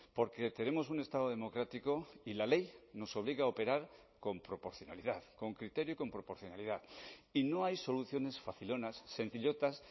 porque tenemos un estado democrático y la ley nos obliga a operar con proporcionalidad con criterio y con proporcionalidad y no hay soluciones facilonas sencillotas